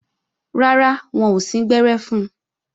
Rárá, wọn ò síngbẹ́rẹ́ fun